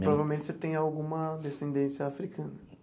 Provavelmente você tem alguma descendência africana.